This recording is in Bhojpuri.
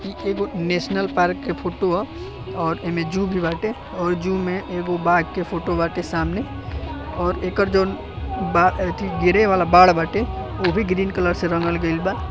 ई एगो नेशनल पार्क के फोटो ह और इमे ज़ू बी बाटे और ज़ू में एगो बाघ के फोटो बाटे सामने और एकरजोन बा ई गिरे वाला बाण बाटे ओ भी ग्रीन कलर से रंगल गायलबा।